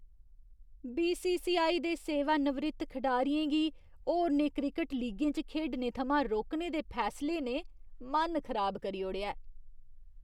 BCCI. दे सेवानिवृत्त खडारियें गी होरनें क्रिकट लीगें च खेढने थमां रोकने दे फैसले ने मन खराब करी ओड़ेआ ऐ।